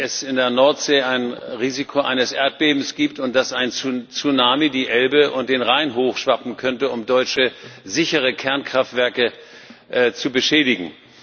Ich glaube nicht, dass es in der Nordsee ein Risiko eines Erdbebens gibt und dass ein Tsunami die Elbe und den Rhein hochschwappen könnte, um deutsche, sichere Kernkraftwerke zu beschädigen.